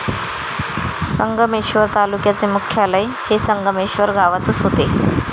संगमेश्वर तालुक्याचे मुख्यालय हे संगमेश्वर गावातच होते.